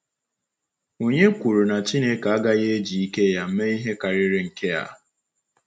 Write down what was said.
Ònye kwuru na Chineke agaghị eji ike ya mee ihe karịrị nke a?